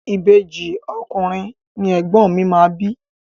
Ìbejì ọkùnrin ni ègbón mi máa bí.